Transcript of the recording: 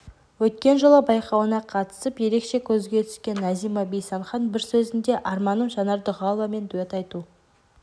өткен жылы байқауына қатысып ерекше көзге түскен назима бейсанхан бір сөзінде арманым жанар дұғаловамен дуэт айту